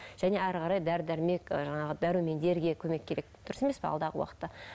және әрі қарай дәрі дәрмек жаңағы ы дәрумендерге көмек керек дұрыс емес пе алдағы уақытта